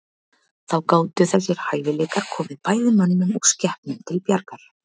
Þá gátu þessir hæfileikar komið bæði mönnum og skepnum til bjargar.